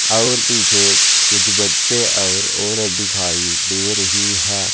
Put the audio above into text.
और पीछे कुछ बच्चे और औरत दिखाई दे रही है।